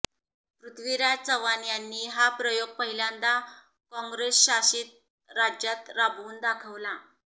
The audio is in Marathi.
पृथ्वीराज चव्हाण यांनी हा प्रयोग पहिल्यांदा काँग्रेसशासित राज्यात राबवून दाखवावा